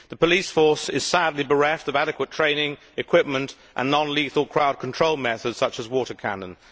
The police force is sadly bereft of adequate training, equipment and non lethal crowd control methods such as water cannon.